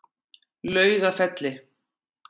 Laugafelli